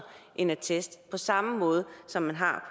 en attest på samme måde som man har